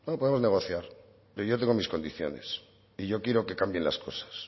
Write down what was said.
podemos negociar pero yo tengo mis condiciones y yo quiero que cambien las cosas